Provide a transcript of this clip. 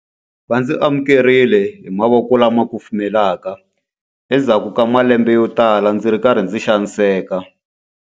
Va ndzi amukerile hi mavoko lama kufumelaka endzhaku ka malembe yotala ndzi ri karhi ndzi xaniseka.